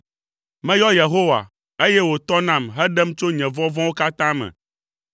Meyɔ Yehowa, eye wòtɔ nam heɖem tso nye vɔvɔ̃wo katã me.